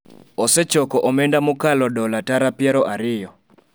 osechoko omenda mokalo dola tara piero ariyo